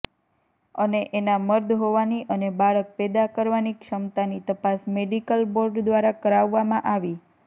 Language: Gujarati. અને એના મર્દ હોવાની અને બાળક પેદા કરવાની ક્ષમતાની તપાસ મેડિકલ બોર્ડ દ્વારા કરાવવામાં આવી